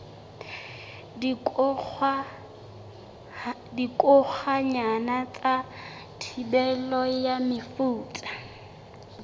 dikokwanyana ka thibelo ya mefuta